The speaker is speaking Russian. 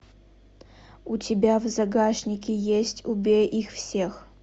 у тебя в загашнике есть убей их всех